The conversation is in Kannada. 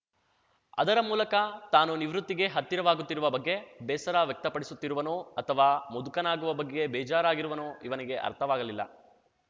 ಅದರ ಮೂಲಕ ತಾನು ನಿವೃತ್ತಿಗೆ ಹತ್ತಿರವಾಗುತ್ತಿರುವ ಬಗ್ಗೆ ಬೇಸರ ವ್ಯಕ್ತಪಡಿಸುತ್ತಿರುವನೋ ಅಥವಾ ಮುದುಕನಾಗುವ ಬಗ್ಗೆ ಬೇಜಾರಾಗಿರುವನೋ ಇವನಿಗೆ ಅರ್ಥವಾಗಲಿಲ್ಲ